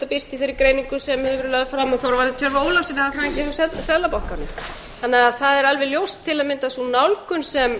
birst í þeirri greiningu sem hefur verið lögð fram af þorvarði tjörva ólafssyni hagfræðingi hjá seðlabankanum það er alveg ljóst að sú nálgun sem